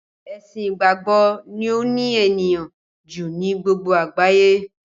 Ẹ̀sìn ìgbàgbọ́ ni ó ní ènìyàn ju ni gbogbo àgbáyé